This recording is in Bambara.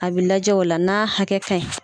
A be lajɛ o la n'a hakɛ ka ɲi.